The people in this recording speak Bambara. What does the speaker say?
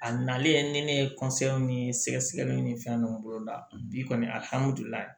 A nalen ni ne ye ni sɛgɛsɛgɛliw ni fɛn nunnu boloda bi kɔni